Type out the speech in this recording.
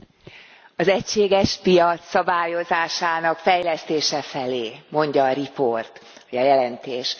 Elnök Úr! Az egységes piac szabályozásának fejlesztése felé, mondja a riport, a jelentés.